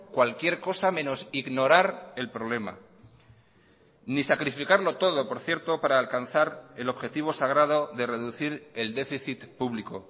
cualquier cosa menos ignorar el problema ni sacrificarlo todo por cierto para alcanzar el objetivo sagrado de reducir el déficit público